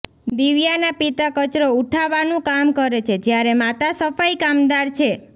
દિવ્યાના પિતા કચરો ઉઠાવાનું કામ કરે છે જ્યારે માતા સફાઈ કામદાર છે